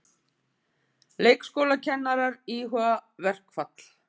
Leikskólakennarar íhuga verkfall